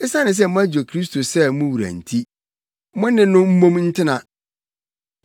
Esiane sɛ moagye Kristo sɛ mo wura nti, mo ne no mmom ntena.